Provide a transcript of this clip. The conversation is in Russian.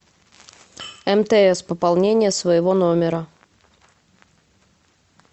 мтс пополнение своего номера